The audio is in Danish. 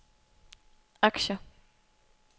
aktier